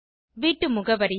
வீட்டு முகவரியை